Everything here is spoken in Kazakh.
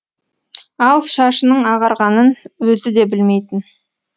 ал шашының ағарғанын өзі де білмейтін